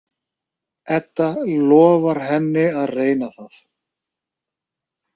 Edda lofar henni að reyna það.